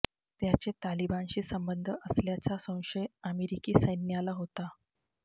त्याचे तालिबानशी संबंध असल्याचा संशय अमेरिकी सैन्याला होता